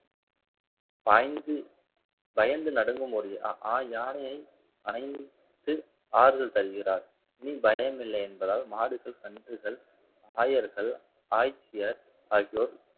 பாய்ந்து பயந்து நடுங்கும் ஒரு ஆஹ் யானையை அனைத்து ஆறுதல் தருகிறார் இனி பயம் இல்லை என்பதால் மாடுகள் கன்றுகள் ஆயர்கள் ஆய்ச்சியர் ஆகியோர்